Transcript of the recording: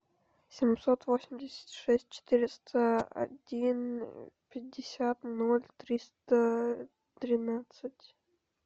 семьсот восемьдесят шесть четыреста один пятьдесят ноль триста тринадцать